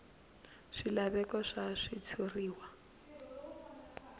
bya swilaveko swa switshuriwa a